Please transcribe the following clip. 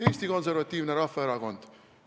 Eesti Konservatiivne Rahvaerakond.